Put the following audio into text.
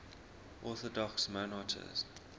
orthodox monarchs